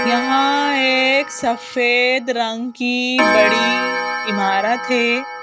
यहां एक सफेद रंग की बड़ी इमारत है।